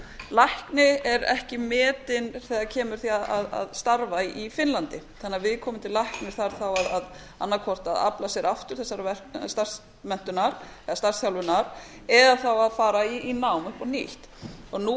lækni er ekki metin þegar kemur að því að starfa í finnlandi þannig að viðkomandi læknir þarf þá annað hvort að afla sér aftur þessarar starfsmenntunar eða starfsþjálfunar eða fara í nám upp á nýtt nú